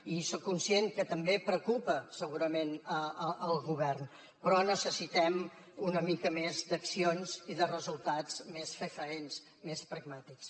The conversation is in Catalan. i soc conscient que també preocupa segurament el govern però necessitem una mica més d’accions i de resultats més fefaents més pragmàtics